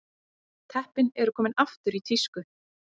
Teppin eru komin aftur í tísku